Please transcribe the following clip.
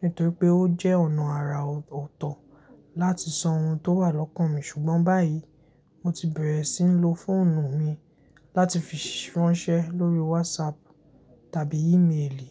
nítorípé ó jẹ́ ọ̀nà àrà ọ̀tọ̀ láti sọ ohun tó wà lọ́kàn mi ṣùgbọ́n báyìi mo ti bẹ̀rẹ̀ sí ń lo fóònù mi láti fi ránṣẹ́ lóríi wásaàpù tàbí ímeèlì.